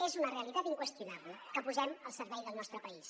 és una realitat inqüestionable que posem al servei del nostre país